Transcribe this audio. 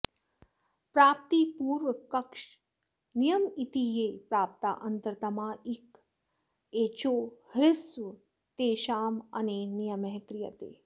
प्राप्तिपूर्वकश्च नियम इति ये प्राप्ता अन्तरतमा इक एचो ह्यस्वास्तेषामनेन नियमः क्रियते